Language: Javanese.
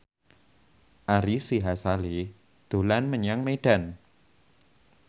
Ari Sihasale dolan menyang Medan